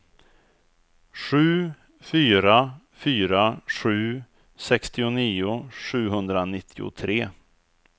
sju fyra fyra sju sextionio sjuhundranittiotre